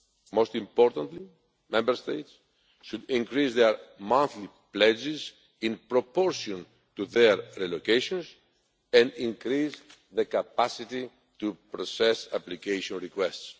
Most importantly, Member States should increase their monthly pledges in proportion to their relocations and increase their capacity to process application requests.